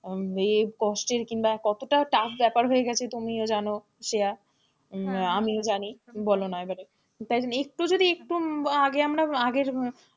আহ ইয়ে কষ্টের কিংবা কত tough ব্যাপার হয়ে গেছে তুমিও জানো শ্রেয়া হম আমিও জানি বলোনা এবার তাই জন্য একটু যদি একটু আগে আমরা আগের,